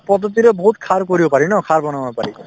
পদ্ধতিৰে বহুত সাৰ কৰিব পাৰি ন সাৰ বনাব পাৰি